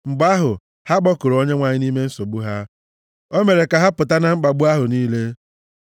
Mgbe ahụ, ha kpọkuru Onyenwe anyị nʼime nsogbu ha, o mere ka ha pụta na mkpagbu ahụ niile.